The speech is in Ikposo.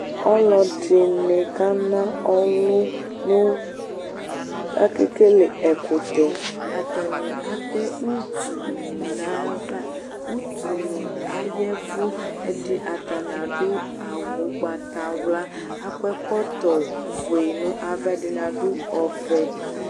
Ɔlɔdɩnɩ kana ɔlʋ nʋ Akekele ɛkʋtɛ Atanɩ atɛ utunɩ nʋ ayava Utunɩ aya ɛvʋ Ɛdɩ atanɩ adʋ awʋ ʋgbatawla kʋ akɔ ɛkɔtɔfue nʋ ava, ɛdɩnɩ adʋ ɔvɛ